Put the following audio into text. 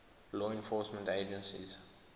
law enforcement agencies